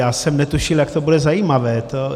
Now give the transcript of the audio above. Já jsem netušil, jak to bude zajímavé.